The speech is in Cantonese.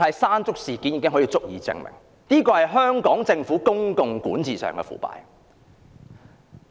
"山竹"事件已足以證明政府在公共管治上的腐敗。